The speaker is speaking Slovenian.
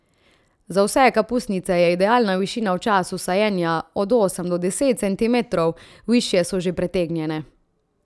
Za vse kapusnice je idealna višina v času sajenja od osem do deset centimetrov, višje so že pretegnjene.